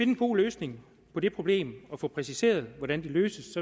en god løsning på det problem og få præciseret hvordan det løses